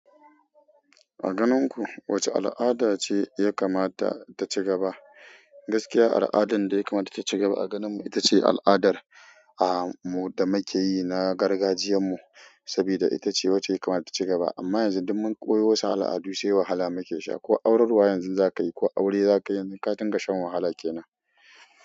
A ganin ku wacce al'ada ce ya kamata ta ci gaba. Gaskiya al'adan da ya kamata ta ci gaba a ganin mu ita ce al'adar mu da make yi na gargajiyan mu sabida ita ce wacce ya kamata ta ci gaba. Amma yanzu duk mun koyi wasu al'adu sai wahala muke sha. Ko aurarwa yanzu za ka yi ko aure za ka yi ka dinga shan wahala kenan.